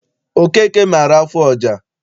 Okeke maara afụ ọja.